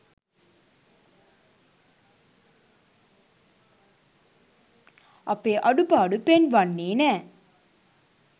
අපේ අඩුපාඩු පෙන්වන්නේ නෑ